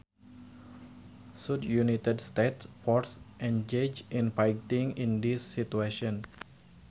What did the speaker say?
Should United States forces engage in fighting in these situations